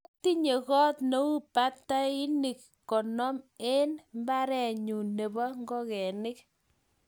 Atinye got neu batainik konom en imbare nyun nebo ingogenik.